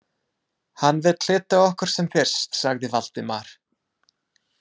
Hann vill hitta okkur sem fyrst sagði Valdimar.